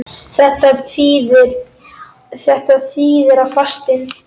Þetta þýðir að fastinn